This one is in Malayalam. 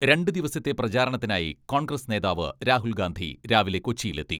രണ്ടു ദിവസത്തെ പ്രചാരണത്തിനായി കോൺഗ്രസ് നേതാവ് രാഹുൽ ഗാന്ധി രാവിലെ കൊച്ചിയിലെത്തി.